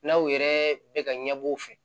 N'aw yɛrɛ bɛ ka ɲɛbɔ u fɛ